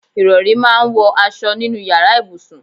Ìrọ̀rí máa ń wọ aṣọ nínú ìyára ibùsùn.